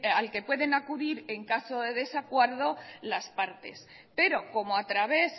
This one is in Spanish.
al que pueden acudir en caso de desacuerdo las partes pero como a través